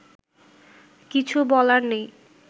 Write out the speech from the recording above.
কিছু বলার নেই